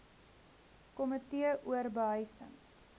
komitee or behuising